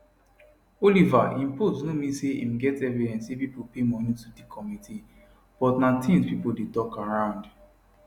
oliver im post no mean say im get evidence say pipo pay money to di committee but na tins pipo dey tok around